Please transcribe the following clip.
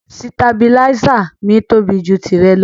Sìtàbílísa mi tóbi jù tìrẹ lọ.